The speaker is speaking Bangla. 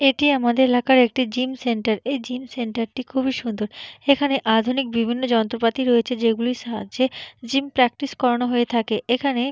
এটি আমাদের এলাকার একটি জিম সেন্টার । এই জিম সেন্টার টি খুব সুন্দর এখানে আধুনিক বিভিন্ন যন্ত্রপাতি রয়েছে যেগুলির সাহায্যে জিম প্রাকটিস করানো হয়ে থাকে। এখানে--